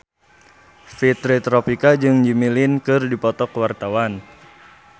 Fitri Tropika jeung Jimmy Lin keur dipoto ku wartawan